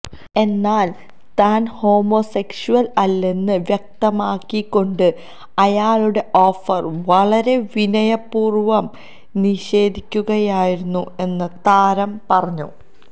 എന്നാല് താന് ഹോമോസെഷ്വല് അല്ലെന്ന് വ്യക്തമാക്കിക്കൊണ്ട് അയാളുടെ ഓഫര് വളരെ വിനയപൂര്വം നിഷേധിക്കുകയായിരുന്നു എന്ന് താരം പറഞ്ഞു